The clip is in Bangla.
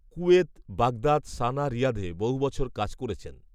কুয়েত বাগদাদ সানা রিয়াধে বহু বছর কাজ, করেছেন